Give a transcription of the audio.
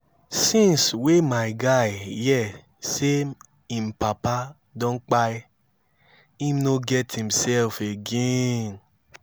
since wey my guy hear sey im papa don kpai im no get imself again